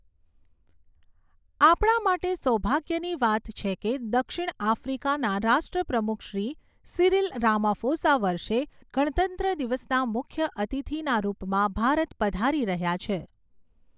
આપણા માટે સૌભાગ્યની વાત છે કે, દક્ષિણ આફ્રિકાના રાષ્ટ્રપ્રમુખશ્રી સિરિલ રામાફોસા વર્ષે ગણતંત્ર દિવસના મુખ્ય અતિથિના રૂપમાં ભારત પધારી રહ્યા છે.